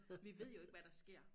Vi ved jo ikke hvad der sker